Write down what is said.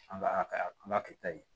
An ka a kɛta ye